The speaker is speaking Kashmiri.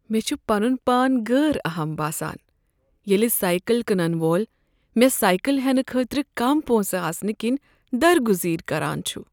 مےٚ چھ پنن پان غٲر اہم باسان ییٚلہ سایکل کٕنن وول مےٚ سایکل ہٮ۪نہٕ خٲطرٕ کم پونٛسہٕ آسنہٕ کِنۍ درگٔزیر كران چھُ۔